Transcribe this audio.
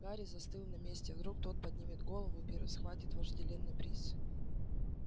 гарри застыл на месте вдруг тот поднимет голову и первый схватит вожделенный приз